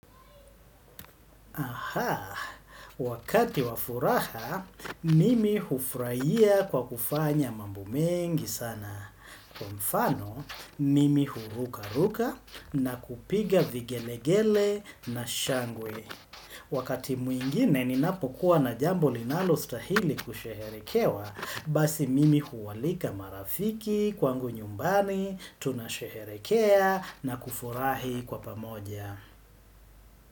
Ahaa, wakati wafuraha, mimi hufurahia kwa kufanya mambo mengi sana. Kwa mfano, mimi huruka-ruka na kupiga vigelegele na shangwe. Wakati mwingine, ninapokuwa na jambo linalo stahili kusheherekewa, basi mimi huwalika marafiki kwangu nyumbani, tunasheherikea na kufurahi kwa pamoja.